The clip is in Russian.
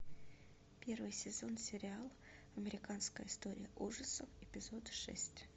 первый сезон сериал американская история ужасов эпизод шесть